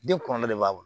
Den kɔrɔ de b'a bolo